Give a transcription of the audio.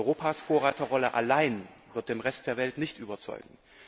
Europas Vorreiterrolle allein wird den Rest der Welt nicht überzeugen.